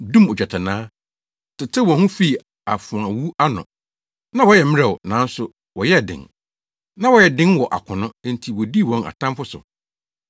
dum ogyatannaa, tetew wɔn ho fii afoawu ano. Na wɔyɛ mmerɛw, nanso wɔyɛɛ den. Na wɔyɛ den wɔ akono, enti wodii wɔn atamfo so.